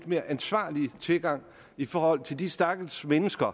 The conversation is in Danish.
mere ansvarlig tilgang i forhold til de stakkels mennesker